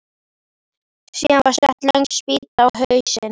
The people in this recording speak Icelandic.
Síðan var sett löng spýta á hausinn.